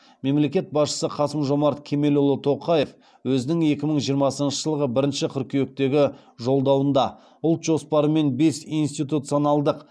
мемлекет басшысы қасым жомарт кемелұлы тоқаев өзінің екі мың жиырмасыншы жылғы бірінші қыркүйектегі жолдауында ұлт жоспары мен бес институционалдық